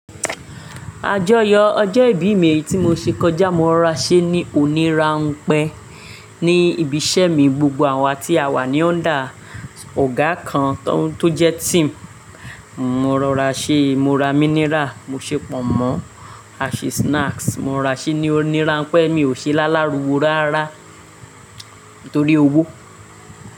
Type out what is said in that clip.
Àjọyọ̀ ọjọ́ ìbí mi tí mo ṣe kọjá, mo rora ṣé ní onírànpẹ́ ní ibiṣẹ́ mi. Gbogbo àwa tí a wà ní under ọ̀gá kan tó jẹ́ team, mo ra ṣé, mo ra mineral, mo ṣe pọ̀nmọ́, a ṣe snacks, mo ra ṣé ní onírànpẹ́. Èmi ò ṣe lálariwo rárá nítorí owó.